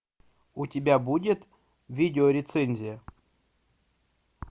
у тебя будет видеорецензия